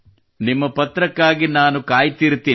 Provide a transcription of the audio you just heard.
ನಿಮ್ಮ ಪತ್ರಕ್ಕಾಗಿ ನಾನು ಕಾಯುತ್ತಿರುತ್ತೇನೆ